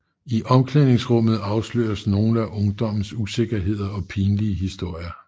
I omklæningsrummet afsløres nogle af ungdommens usikkerheder og pinlige historier